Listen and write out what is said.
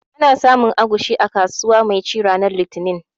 Ana samun agushi a kasuwa mai ci ranar litinin